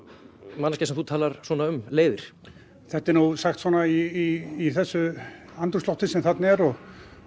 manneskja sem þú talar svona um leiðir þetta er nú sagt svona í þessu andrúmslofti sem þarna er og